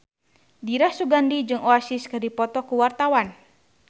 Dira Sugandi jeung Oasis keur dipoto ku wartawan